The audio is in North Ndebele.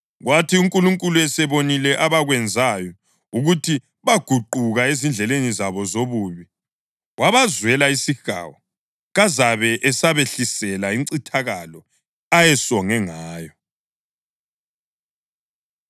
Kwathi uNkulunkulu esebonile abakwenzayo ukuthi baguquka ezindleleni zabo zobubi, wabazwela isihawu kazabe esabehlisela incithakalo ayesonge ngayo.